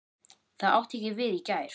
Það átti ekki við í gær.